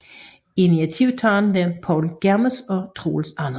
Initiativtagerene var Poul Gernes og Troels Andersen